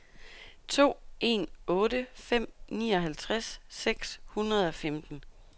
to en otte fem nioghalvtreds seks hundrede og femten